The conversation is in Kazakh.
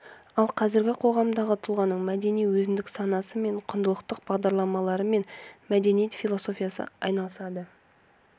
ал қазіргі қоғамдағы тұлғаның мәдени өзіндік санасы мен құндылықтық бағдарларымен мәдениет философиясы айналысады